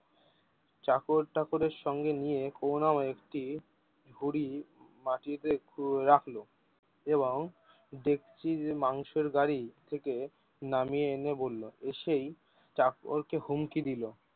চাকর টাকরের সঙ্গে নিয়ে করুনাময় একটি ঝুড়ি মাটিতে কো রাখলো এবং ডেকচির মাংসের গাড়ি থেকে নামিয়ে এনে বললো এসেই চাকর কে হুমকি দিলো।